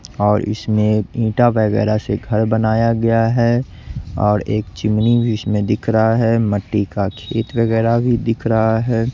और इसमें ईंटा वगैरा से घर बनाया गया है और एक चिमनी भी इसमें दिख रहा है मिट्टी का खेत वगैरा भी दिख रहा है।